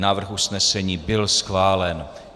Návrh usnesení byl schválen.